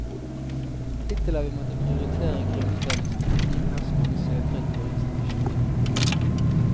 Hittil har vi måttet prioritere grunnutdannelsen fordi vi har så mange søkere til våre institusjoner.